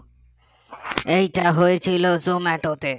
এইটা হয়েছিল জোমাটোতে